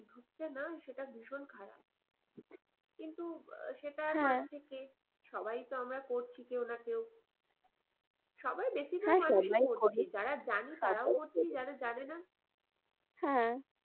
হচ্ছে না সেইটা ভীষণ খারাপ কিন্তু সেইটা হওয়ার থেকে সবাই তো আমরা করছি কেউ না কেউ সবাই বেশি ভাল